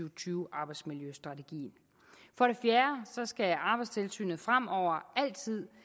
og tyve arbejdsmiljøstrategien for det fjerde skal arbejdstilsynet fremover altid